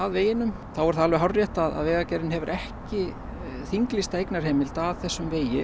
veginum þá er það alveg hárrétt að Vegagerðin hefur ekki þinglýsta eignarheimild að þessum vegi